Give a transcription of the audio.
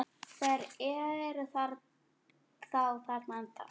Þeir eru þá þarna ennþá!